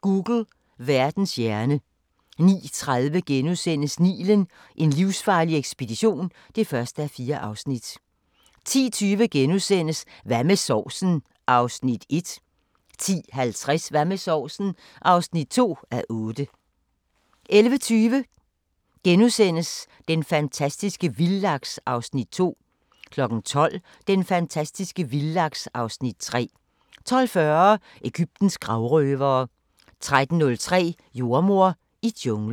Google – Verdens hjerne 09:30: Nilen: En livsfarlig ekspedition (1:4)* 10:20: Hvad med sovsen? (1:8)* 10:50: Hvad med sovsen? (2:8) 11:20: Den fantastiske vildlaks (Afs. 2)* 12:00: Den fantastiske vildlaks (Afs. 3) 12:40: Egyptens gravrøvere 13:05: Jordemoder i junglen